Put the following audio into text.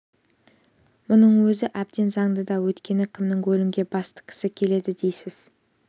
мұның өзі әбден заңды да өйткені кімнің өлімге бас тіккісі келеді дейсіз